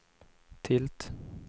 tilt